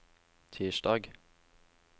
tirsdag